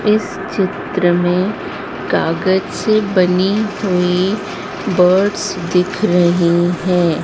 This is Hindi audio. इस चित्र में कागज से बनी हुई बोट्स दिख रही हैं।